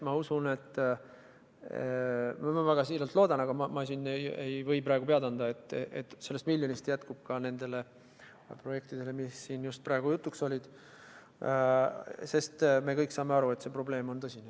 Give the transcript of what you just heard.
Ma usun – ma väga siiralt loodan, aga ma ei või praegu pead anda –, et sellest miljonist jätkub ka nendele projektidele, mis siin praegu jutuks olid, sest me kõik saame aru, et probleem on tõsine.